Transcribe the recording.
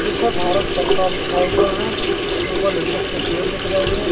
जिस पर भारत सरकार लिखा हुआ है ऊपर लिप्टस के पेड़ दिख रहे हैं।